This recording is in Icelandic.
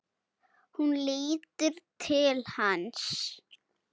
Hún lítur til hans.